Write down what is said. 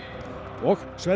og Sverrir